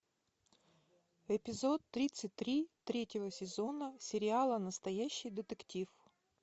эпизод тридцать три третьего сезона сериала настоящий детектив